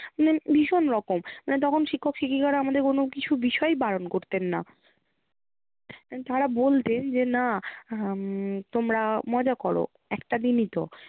মানে ভীষণ রকম মানে তখন শিক্ষক শিক্ষিকারা আমাদের কোনো কিছু বিষয়ে বারণ করতেন না। তাঁরা বলতেন যে না উম তোমরা মজা করো একটা দিনই তো